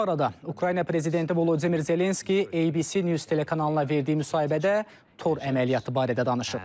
Bu arada Ukrayna prezidenti Volodimir Zelenski ABC News telekanalına verdiyi müsahibədə tor əməliyyatı barədə danışıb.